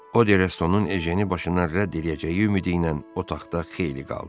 O Restonun Ejeni başından rədd eləyəcəyi ümidi ilə otaqda xeyli qaldı.